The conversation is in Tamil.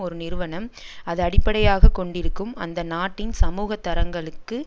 ஒரு நிறுவனம் அது அடிப்படையாக கொண்டிருக்கும் அந்த நாட்டின் சமூக தரங்களுக்கு